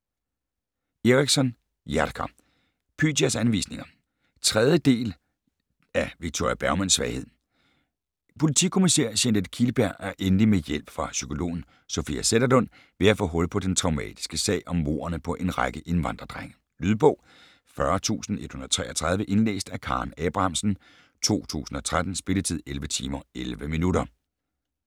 Eriksson, Jerker: Pythias anvisninger 3. del. del af Victoria Bergmans svaghed. Politikommissær Jeanette Kihlberg er endelig med hjælp fra psykologen Sofia Zetterlund ved at få hul på den traumatiske sag om mordene på en række indvandrerdrenge. Lydbog 40133 Indlæst af Karen Abrahamsen, 2013. Spilletid: 11 timer, 11 minutter.